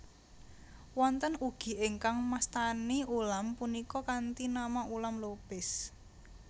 Wonten ugi ingkang mastani ulam punika kanthi nama Ulam Lopis